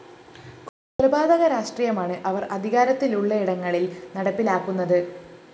കൊലപാതക രാഷ്ട്രീയമാണ് അവര്‍ അധികാരത്തിലുള്ളയിടങ്ങളില്‍ നടപ്പിലാക്കുന്നത്